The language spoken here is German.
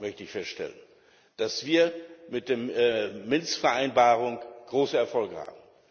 Weiterhin möchte ich feststellen, dass wir mit der Minsker Vereinbarung große Erfolge haben.